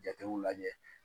Jatew lajɛ